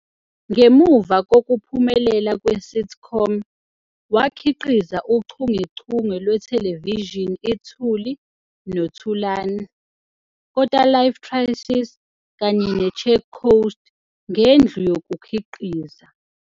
Ngemuva kokuphumelela kwe-sitcom, wakhiqiza uchungechunge lwethelevishini iThuli "no Thulani", "Kota Life Crisis" kanye "neCheck Coast" ngendlu yokukhiqiza.